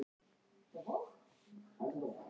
Fjölskyldur leystust upp.